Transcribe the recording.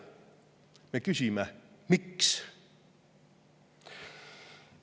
Me küsime, miks.